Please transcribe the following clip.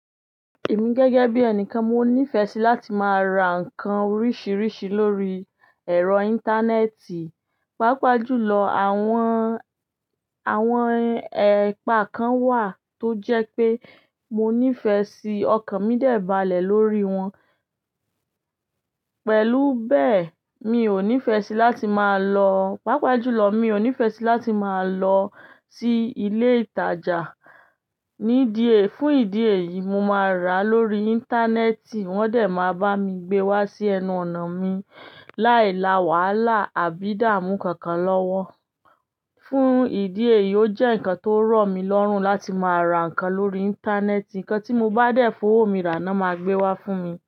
Èmi gẹ́gẹ́ bí ẹnikan, mo nífẹ̀ẹ́ sí láti máa ra nǹkan oríṣiríṣi lórí ẹ̀rọ íńtánẹ́ẹ̀tì. Páapajùlọ, àwọn, àwọn ẹ̀paa kan wà tó jẹ́ pé mo nífẹ̀ẹ́ sí ọkàn mí dẹ̀ balẹ̀ lórí wọn. Pẹ̀lú bẹ́ẹ̀, mi ò nífẹ̀ẹ́ sí láti máa lọ, pàápàá jùlọ mi ò nífẹ̀ẹ́ sí láti máa lọ sí ilé ìtajà. Nídìẹ́, fún ìdí èyí, mo máa rà á lórí íńtánẹ́ẹ̀tì wọ́n dẹ̀ máa bá mi gbé wá sí ẹnu ọ̀nà mi, láì la wàhálà àbí dààmú kankan lọ́wọ́. Fún ìdí èyí, ó jẹ́ nǹkan tó rọ̀ mí lọ́rùn láti máa ra nǹkan lórí íńtánẹ́ẹ̀tì. Nnkan tí mo bá dẹ̀ fowó mi rà ná, máa gbé wá fún mi.